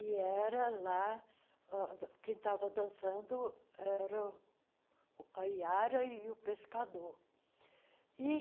E era lá uh, quem estava dançando era a Iara e o pescador.